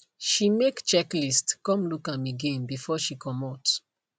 she make checklist come look am again before she comot